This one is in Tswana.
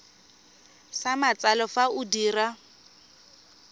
sa matsalo fa o dira